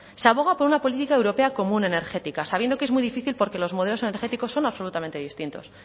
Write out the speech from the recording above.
se aboga por una política europea común energética sabiendo que es muy difícil porque los modelos energéticos son absolutamente distintos